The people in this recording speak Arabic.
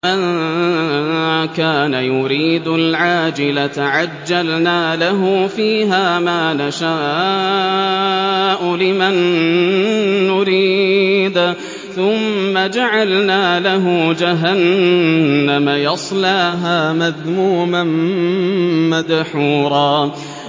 مَّن كَانَ يُرِيدُ الْعَاجِلَةَ عَجَّلْنَا لَهُ فِيهَا مَا نَشَاءُ لِمَن نُّرِيدُ ثُمَّ جَعَلْنَا لَهُ جَهَنَّمَ يَصْلَاهَا مَذْمُومًا مَّدْحُورًا